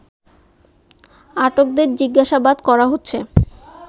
আটকদের জিজ্ঞাসাবাদ করা হচ্ছে